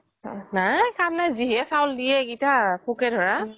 নাই কাম নাই যি হে চাউল দিয়ে সিগেতা পোকে ধৰা